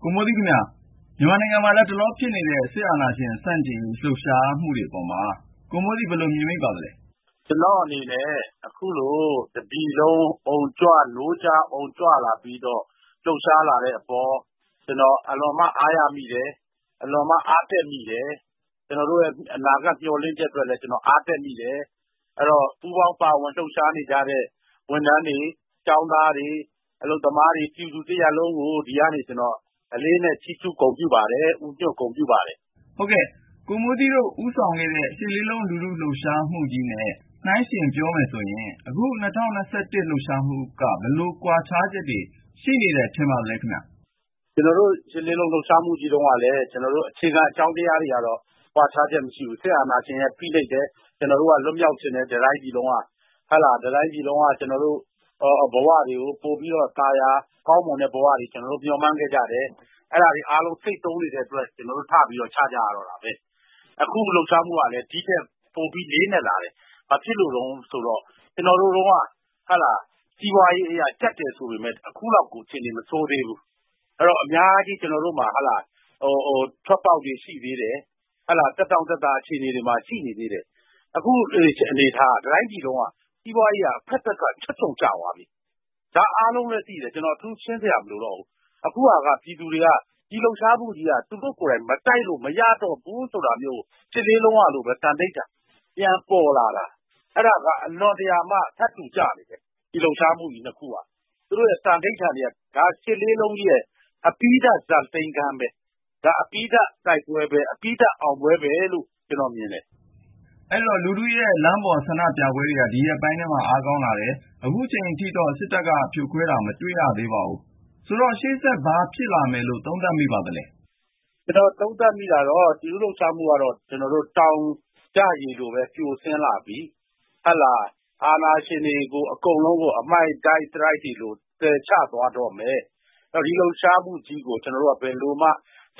ကိုမိုးသီးခင်ဗျာ မြန်မာနိုင်ငံမှာ လတ်တလောဖြစ်နေတဲ့ စစ်အာဏာရှင်ဆန့်ကျင်ရေး လှုပ်ရှားမှုတွေ အပေါ်မှာ ကိုမိုးသီး ဘယ်လိုမြင်ပါသလဲ။ ကိုမိုးသီးဇွန် ။ ။ အခုလိုမျိုး တပြည်လုံး နိုးကြားအုံကြွလာပြီးတော့ လှုပ်ရှားလာတဲ့အပေါ် ကျနော့်အနေနဲ့ အလွန်မှ အားရမိတယ်။ အလွန် အားတက်မိတယ်။ ကျနော်တို့ရဲ့ အနာဂတ် မျှော်လင့်ချက်အတွက်လည်း ကျနော်အားတက်မိတယ်။ အဲဒီတော့ ပူးပေါင်းပါဝင် လှုပ်ရှားနေကြတဲ့ ဝန်ထမ်းတွေ ကျောင်းသားတွေ အလုပ်သမားတွေ... ပြည်သူတရပ်လုံးကို ဒီကနေ ကျနော် အလေးအနက် ချီးကျူးဂုဏ်ပြုပါတယ်။ ဦးညွှတ် ဂုဏ်ပြုပါတယ်။ ကိုဉာဏ်ဝင်းအောင် ။ ။ ဟုတ်ကဲ့ ကိုမိုးသီးတို့ ဦးဆောင်ခဲ့တဲ့ ဒီမိုကရေစီရေး ရှစ်လေးလုံး လူထုလှုပ်ရှားမှုကြီးနဲ့ နှိုင်းယှဉ်ပြောမယ်ဆိုရင် အခု ၂၀၂၁ လှုပ်ရှားမှုက ဘယ်လိုကွာခြားချက်တွေ ရှိမယ် ထင်ပါသလဲ ။ ကိုမိုးသီးဇွန် ။ ။ ကျနော်တို့ ၈၈၈၈ လှုပ်ရှားမှုကြီးတုန်းကလည်း အခြေခံ အကြောင်းတရား တွေကတော့ ကွာခြားချက်မရှိဘူး။ စစ်အာဏာရှင်တွေက ဖိနှိပ်တယ် ၊ ကျနော်တို့ တတိုင်းပြည်လုံးက လွတ်မြောက်ချင်တယ်။ တတိုင်းပြည်လုံးက ဘဝတွေကို ပိုပြီးသာယာ ကောင်းမွန်တဲ့ ဘဝတွေကို ကျနော်တို့ မျှော်မှန်းခဲ့ကြတယ်။ အဲဒါတွေအားလုံး ဆိတ်သုဉ်းနေတဲ့အတွက် ကျနော်တို့ ထပြီး ချကြရတော့တာပဲ။ အခု လှုပ်ရှားမှုက ပိုပြီးလေးနက်လာတယ်။ ဘာဖြစ်လို့တုန်းဆိုတော့ ကျနော်တို့တုန်းက စီးပွားရေးအရ ကြပ်တယ်ဆိုပေမယ့် အခုလောက် အခြေအနေ မဆိုးသေးဘူး။ ကျနော်တို့မှာ ထွက်ပေါက်တွေ အများကြီးရှိသေးတယ်။ သက်တောင့်သက်သာ အခြေအနေတွေမှာ ရှိနေသေးတယ် ။ အခုအနေအထားအရ တတိုင်းပြည်လုံးက စီးပွားရေးဟာ ချွတ်ခြုံကျသ ွားပြီ ၊ ဒါအားလုံးသိကြတယ် ကျနော် အထူးရှင်းစရာ မလိုတော့ဘူး။ အခုဟာက ဒီလှုပ်ရှားမှုက ပြည်သူတွေဟာ သူတို့ကိုယ်တိုင် မတိုက်လို့ မရတော့ဘူးဆိုတာမျိုး ၈၈၈၈ တုန်းကလိုပဲ သံဓိဌာန် ပြန်ပေါ်လာတာ။ အဲဒါက အလွန်တရာမှ ထပ်တူကျနေတယ် ဒီလှုပ်ရှားမှုကြီး နှစ်ခုက... ။ ဒါ ၈၈၈၈ ကြီးရဲ့ အပြီးသတ် ဇာတ်သိမ်းခန်းပဲ။ အပြီးသတ်တိုက်ပွဲ အပြီးသတ် အောင်ပွဲပဲလို့ ကျနော်မြင်တယ်။ ကိုဉာဏ်ဝင်းအောင် ။ ။ အဲဒီတော့ လူထုရဲ့ဆန္ဒပြပွဲတွေက ဒီရက်ပိုင်းထဲ အားကောင်းလာတယ်။ အခုချိန်ထိတော့ စစ်တပ်က ဖြိုခွဲတာ မတွေ့ရသေးပါဘူး။ ဆိုတော့ ရှေ့ဆက်ဘာဖြစ်လာမယ်လို့ ကိုမိုးသီး သုံးသပ်ပါသလဲ။ ကိုမိုးသီးဇွန် ။ ။ ကျနော်သုံးသပ်မိတာက လူထု လှုပ်ရှားမှုက တောင်ကျရေလိုပဲ ပြိုဆင်းလာပြီ။ အာဏာရှင်တွေကို အမှိုက်ဒိုက်သရိုက်တွေလို သယ်ချသ ွားတော့မယ့် ဒီလှုပ်ရှားမှုကြီးကို ဘယ်လိုမှ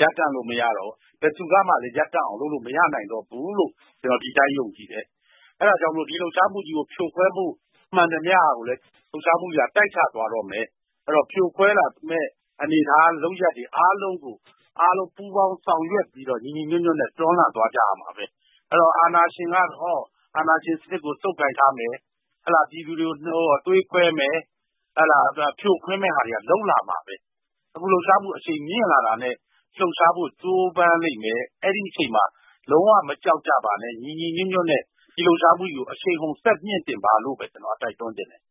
ရပ်တန့်လို့ မရတော့ဘူး။ ဘယ်သူကမှလည်း ရပ်တန့်အောင်လုပ်လို့ မရနိုင်တော့ဘူးလို့ ကျနော် အဲဒီအတိုင်း ယုံကြည်တယ်။ အဲဒါကြောင့်မို့ ဒီလှုပ်ရှားမှုကြီးကို ဖြိုခွဲမှု မှန်သမျှကိုလည်း လှုပ်ရှားမှုကြီးက တိုက်ခတ်သ ွားတော့မယ်။ အဲဒီတော့ ဖြိုခွဲလာမယ့် အနေအထား လုပ်ရပ်တွေ အားလုံးကိုလည်း အားလုံးက ပူးပေါင်း ဆောင်ရွက်ပြီးတော့ ညီညီညွတ်ညွတ်နဲ့ တွန်းလှန် သွားကြရမှာပဲ။ အဲဒီတော့ အာဏာရှင်ကတော့ အာဏာရှင်စနစ်ကို ဆုပ်ကိုင်ထားပြီး ပြည်သူတွေကို သွေးခွဲမယ်.. ဖြိုခ ွင်းမယ့်ဟာတွေက လုပ်လာမှာပဲ။ ပြည်သူ့ လှုပ်ရှားမှုအရှိန် မြင့်လာတာနဲ့ ဖြိုခ ွင်းဖို့ ကြိုးပမ်းလိမ့်မယ် အဲဒီအချိန်မှာ လုံးဝ မကြောက်ကြပါနဲ့ ညီညီညွတ်ညွတ်နဲ့ ဒီလှုပ်ရှားမှုကြီးကို အရှိန်အဟုန် ဆက်မြှင့်တင်ပါလို့ပဲ ကျနော်က တိုက်တွန်းချင်တယ်